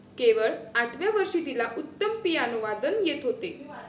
केवळ आठव्या वर्षी तिला उत्तम पियानोवादन येत होते.